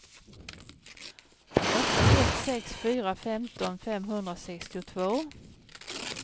åtta ett sex fyra femton femhundrasextiotvå